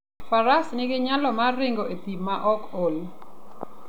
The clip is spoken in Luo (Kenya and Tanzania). Faras nigi nyalo mar ringo e thim maok ool.